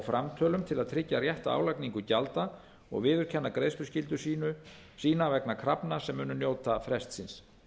framtölum til að tryggja rétta álagningu gjalda og viðurkenna greiðsluskyldu sína vegna krafna sem munu njóta frestsins